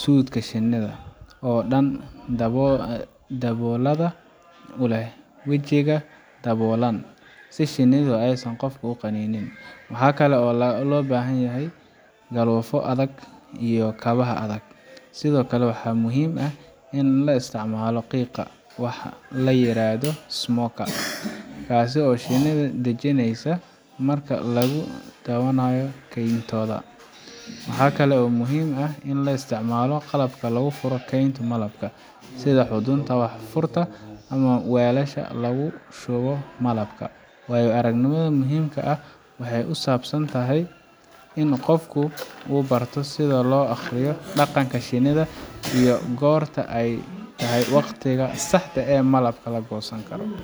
suudhka shinnida oo dhan daboolada oo leh wajiga daboolan si shinnidu aysan qofka u qanin. Waxaa kale oo loo baahan yahay galoofyo adag iyo kabaha adag. Sidoo kale, waxaa muhiim ah in la isticmaalo qiiqa wax la yiraahdo smoker kaas oo shinnida dejinaysa marka lagu dhowaanayo kayntooda. Waxa kale oo muhiim ah in la isticmaalo qalabka lagu furo kaynta malabka, sida xudunta wax furta iyo weelasha lagu shubo malabka. Waayo aragnimada muhiimka ah waxay ku saabsan tahay in qofku barto sida loo akhriyo dhaqanka shinnida, iyo goorta ay tahay waqtiga saxda ah ee malabka la goosan karo.